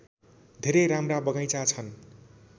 धेरै राम्रा बगैँचा छन्